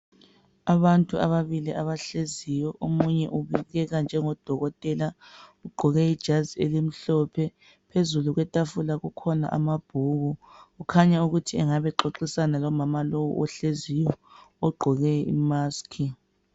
Abantu ababili abahleziyo omunye ubukeka njengo dokotela ugqoke ijazi elimhlophe phezulu kwetafula kukhona amabhuku kukhanya ukuthi engabe xoxisana lomama lowu ohleziyo ogqoke imusk.